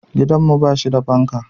Gidanmu ba shi da fanka.